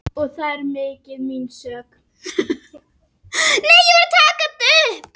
Og þó, líklega hugsaði ég alls ekki svona.